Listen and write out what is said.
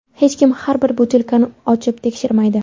Hech kim har bir butilkani ochib tekshirmaydi.